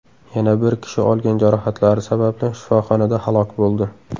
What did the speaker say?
Yana bir kishi olgan jarohatlari sababli shifoxonada halok bo‘ldi.